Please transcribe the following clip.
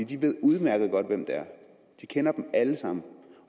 de ved udmærket godt hvem det er de kender dem alle sammen